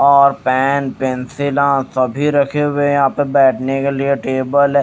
और पेन पेंसिला सभी रखे हुए हैं यहां पे बैठने के लिए टेबल है।